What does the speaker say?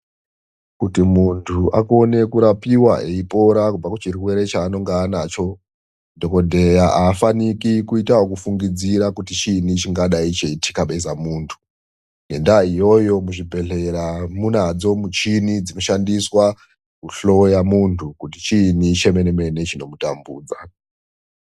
Kuti muntu akone kurapiwa eipora kuchirwere chaanonge anacho dhokodheya afaniki kuita ekufungidzira kuti chiinyi chingadai cheitikabeza muntu. Ngendaya iyoyo kuzvibhedhlera kunadzo michini dzino shandiswa kuhloya muntu kuti chiini chemenemene chino mutambudza.